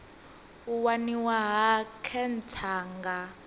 u waniwa ha khentsa nga